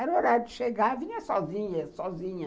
Era o horário de chegar, eu vinha sozinha, sozinha.